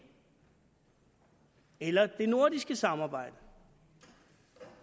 eller hvad med det nordiske samarbejde